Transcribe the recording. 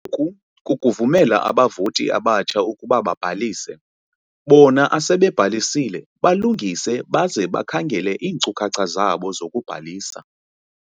"Oku kukuvumela abavoti abatsha ukuba babhalise bona asebebhalisile balungise baze bakhangele iinkcukhacha zabo zokubhalisa."